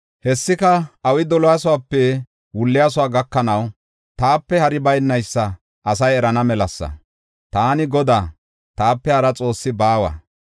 Hessika awi doliyasope wulliyaso gakanaw taape hari baynaysa asay erana melasa; taani Godaa; taape hara xoossi baawa.